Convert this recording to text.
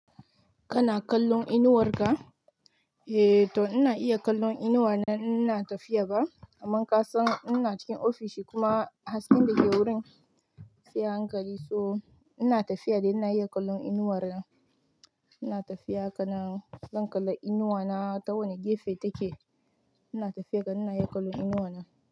Kana kallon inuwar ka? Eh to ina iya kallon inuwa na in ina tafiya ba, amma kasan ina cikin ofishi kuma hasken da ke wurin sai hankali so ina tafiya dai ina iya kallon inuwar na. Ina tafiya haka nan zan kalla inuwa na ta wane gefe take. Ina tafiya kan ina iya kallon inuwa na.